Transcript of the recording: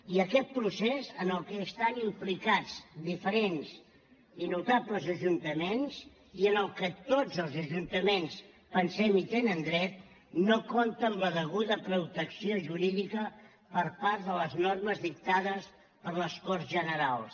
i aquest procés en el que estan implicats diferents i notables ajuntaments i al que tots els ajuntaments pensem tenen dret no compta amb la deguda protecció jurídica per part de les normes dictades per les corts generals